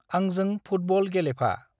आंजोंं football Gelephu.